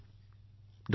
Modi ji Dr